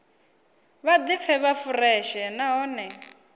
vha ḓipfe vhe fureshe nahone